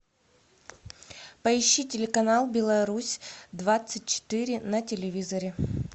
поищи телеканал беларусь двадцать четыре на телевизоре